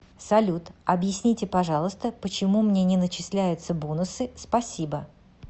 салют объясните пожалуйста почему мне не начисляются бонусы спасибо